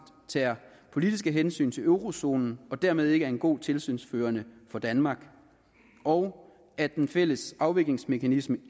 tager politiske hensyn til eurozonen og dermed ikke er en god tilsynsførende for danmark og at den fælles afviklingsmekanisme